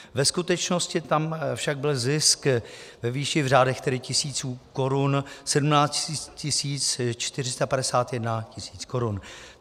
Ve skutečnosti tam však byl zisk ve výši v řádech tedy tisíců korun - 17 451 tisíc korun.